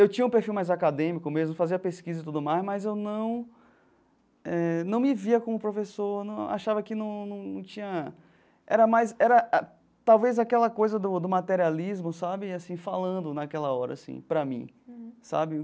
Eu tinha um perfil mais acadêmico mesmo, fazia pesquisa e tudo mais, mas eu não eh não me via como professor não, achava que não não tinha... Era mais era talvez aquela coisa do do materialismo sabe assim falando naquela hora assim para mim, sabe?